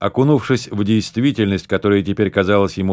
окунувшись в действительность которая теперь казалась ему